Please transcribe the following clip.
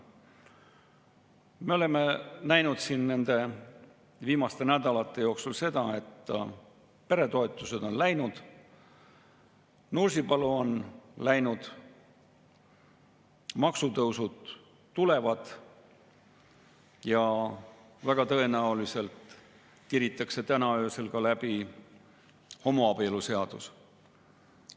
Me oleme näinud nende viimaste nädalate jooksul seda, et peretoetused on läinud, Nursipalu on läinud, maksutõusud tulevad ja väga tõenäoliselt tiritakse täna öösel läbi ka homoabieluseadus.